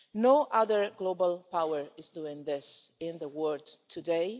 No other global power is doing this in the world today.